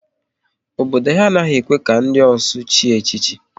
Obodo ha a naghị ekwe ka ndị ọsụ chie echichi